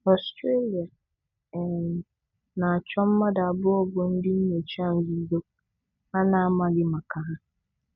Ọstrelia um na-achụ mmadụ abụọ bụ ndị nyocha nzuzo a na-amaghị maka ha.